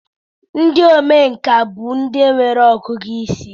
ndị omenkà bụ ndị nwere ọgụgụ isi